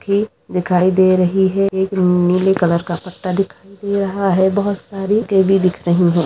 की दिखाई दे रही है एक नीले कलर का पट्टा दिखाई दे रहा है बहोत सारी दिख रही हैं।